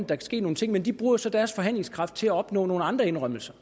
kan ske nogle ting men de bruger jo så deres forhandlingskraft til at opnå nogle andre indrømmelser